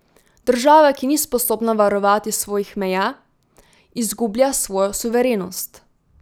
Država, ki ni sposobna varovati svojih meja, izgublja svojo suverenost.